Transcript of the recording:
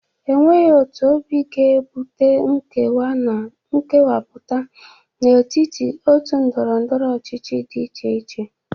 Enweghi otu obi ga-ebute nkewa na nkewapu n'etiti otu ndọrọndọrọ ọchịchị dị iche iche.